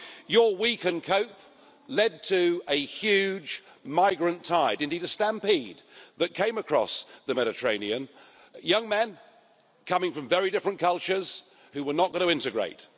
Your we can cope' led to a huge migrant tide indeed, a stampede that came across the Mediterranean young men coming from very different cultures, who were not going to integrate.